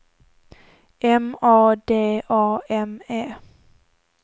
M A D A M E